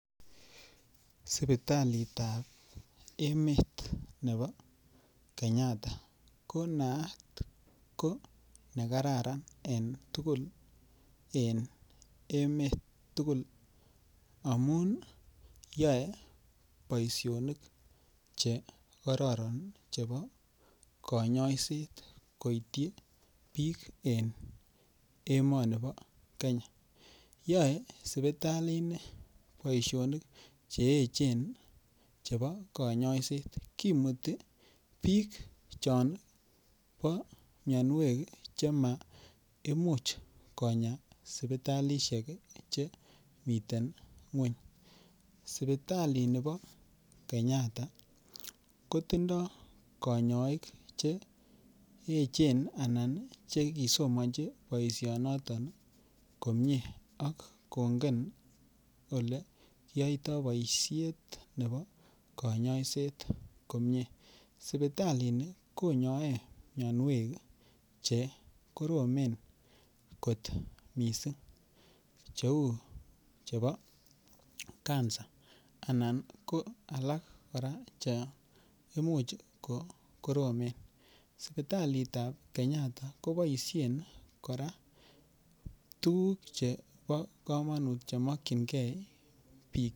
Sipitalitab emet nebo Kenyatta ko naat ko nekararan eng' tugul eng' emet tugul amu yoei boishonik chekororon chebo konyoishet koityi biik eng' emoni bo Kenya yoei sipitalini boishonik cheechen chebo konyoishet kimuti biik chon bo miyonwek chemaimuch konya sipitalishek chemitein ng'weny sipitalini bo Kenyatta kotindoi kanyoik cheechen anan chekisomonji boishonoto komye ak kongen ole yoitoi boishet nebo kanyoishet komye sipitalini konyoei miyonwek chekoromen kot mising' cheu chebo Cancer anan ko alak kora che imuch kokoromen sipitalitab Kenyatta koboishen kora tuguk chebo kamanut chemokchingei biik